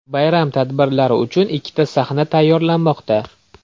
Bayram tadbirlari uchun ikkita sahna tayyorlanmoqda.